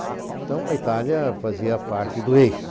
Então a Itália fazia parte do eixo.